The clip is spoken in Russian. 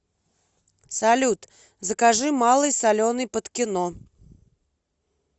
салют закажи малый соленый под кино